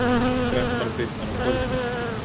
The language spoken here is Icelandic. Kreppan bitnar á körlum